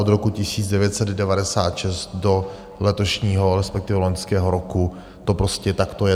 Od roku 1996 do letošního, respektive loňského roku to prostě takto je.